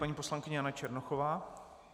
Paní poslankyně Jana Černochová.